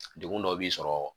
Degun dɔ b'i sɔrɔ